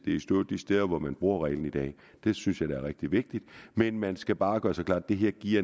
i stå de steder hvor man bruger reglen i dag det synes jeg er rigtig vigtigt men man skal bare gøre sig klart at det her giver